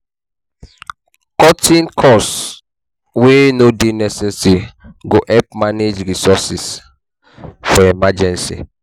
Cutting cost wey no dey necesaary go help manage resources for emergency